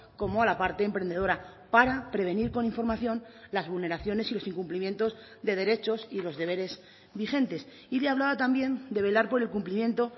como a la parte emprendedora para prevenir con información las vulneraciones y los incumplimientos de derechos y los deberes vigentes y le hablaba también de velar por el cumplimiento